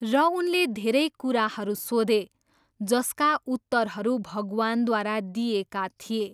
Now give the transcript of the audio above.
र उनले धेरै कुराहरू सोधे जसका उत्तरहरू भगवानद्वारा दिइएका थिए।